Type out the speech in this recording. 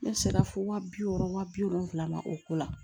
Ne sera fo waa bi wɔɔrɔ wa bi wolonfila o ko la